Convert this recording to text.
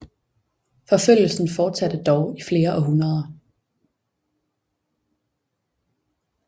Forfølgelsen fortsatte dog i flere århundreder